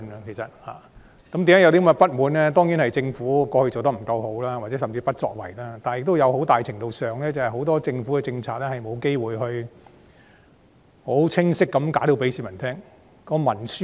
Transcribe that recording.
原因當然是政府以往的表現未如理想或甚至不作為，但在很大程度上，政府其實有很多政策均未有機會清晰地向市民解釋。